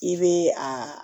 I bɛ a